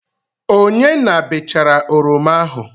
Onye na-bechara oroma ahụ?